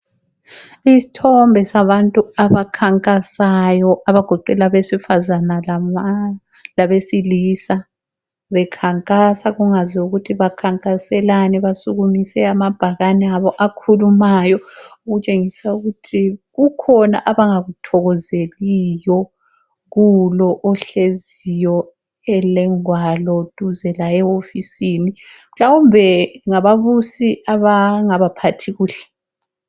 Isthombe sabantu abakhankasayo abagoqela abesifazana labesilisa. Bekhankasa kungaziwa ukuthi bakhankaselani. Basukumise amabhakane abo akhulumayo. Okutshengisa ukuthi kukhona abanga kuthokozeliyo kulo ohleziyo elengwalo duze laye ehofisini. Mhlawumbe ngaba busi abangabaphathi kuhle.